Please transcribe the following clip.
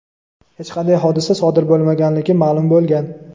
hech qanday hodisa sodir bo‘lmaganligi ma’lum bo‘lgan.